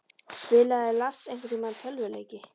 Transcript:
Spilaði Lars einhverntímann tölvuleiki?